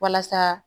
Walasa